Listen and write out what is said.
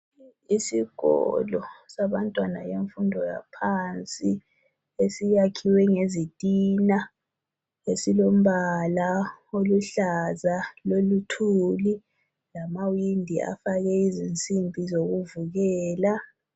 Isikolo sabantwana yemfundo yaphansi. Esiyakhiwe ngezitina esilombala oluhlaza loluthuli lamawindi afakwe izinsimbi zokuvikela.